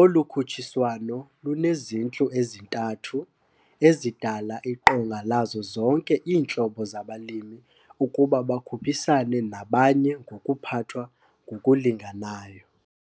Olu khutshiswano lunezintlu ezintathu ezidala iqonga lazo zonke iintlobo zabalimi ukuba bakhuphisane nabanye ngokuphathwa ngokulinganayo.